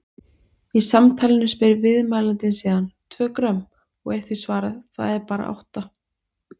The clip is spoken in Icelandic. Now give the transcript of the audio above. Í samtalinu spyr viðmælandinn síðan: Tvö grömm? og er því svarað: Það er bara átta.